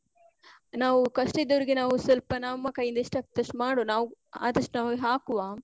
ನಾವೂ ಕಷ್ಟ ಇದ್ದವ್ರಿಗೆ ನಾವೂ ಸ್ವಲ್ಪ ನಮ್ಮ ಕೈ ಇಂದ ಎಷ್ಟ್ ಆಗ್ತದೋ ಅಷ್ಟ್ ಮಾಡುವ ನಾವು, ಆದಷ್ಟ್ ನಾವೇ ಹಾಕುವ.